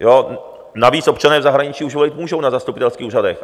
Navíc občané v zahraničí už volit můžou na zastupitelských úřadech.